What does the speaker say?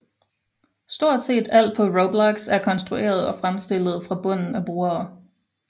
Stort set alt på Roblox er konstrueret og fremstillet fra bunden af brugere